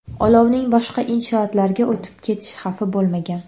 Olovning boshqa inshootlarga o‘tib ketish xavfi bo‘lmagan.